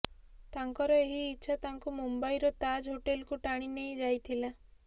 ତାଙ୍କର ଏହି ଇଚ୍ଛା ତାଙ୍କୁ ମୁମ୍ବାଇର ତାଜ୍ ହୋଟେଲକୁ ଟାଣି ନେଇ ଯାଇଥିଲା